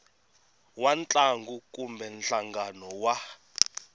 wa ntlangu kumbe nhlangano wa